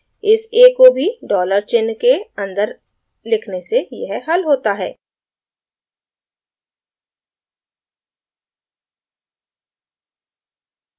इस a को भी dollar चिन्ह के अन्दर लिखने से यह हल होता है